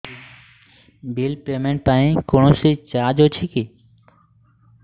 bill payment ପାଇଁ କୌଣସି charge ଅଛି କି